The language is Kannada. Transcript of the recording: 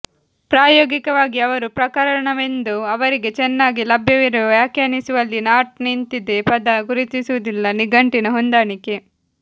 ಪ್ರಾಯೋಗಿಕವಾಗಿ ಅವರು ಪ್ರಕರಣವೆಂದು ಅವರಿಗೆ ಚೆನ್ನಾಗಿ ಲಭ್ಯವಿರುವ ವ್ಯಾಖ್ಯಾನಿಸುವಲ್ಲಿ ನಾಟ್ ನಿಂತಿದೆ ಪದ ಗುರುತಿಸುವುದಿಲ್ಲ ನಿಘಂಟಿನ ಹೊಂದಾಣಿಕೆ